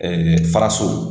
faraso